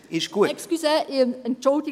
Es ist heiss, ich weiss es.